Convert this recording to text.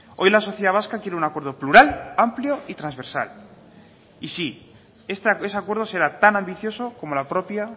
hoy la sociedad vasca quiere un acuerdo plural amplio y transversal y sí ese acuerdo será tan ambicioso como la propia